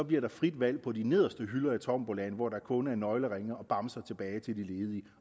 bliver frit valg på de nederste hylder i tombolaen hvor der kun er nøgleringe og bamser tilbage til de ledige